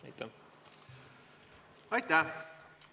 Aitäh!